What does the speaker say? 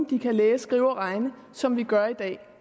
de kan læse skrive og regne som vi gør i dag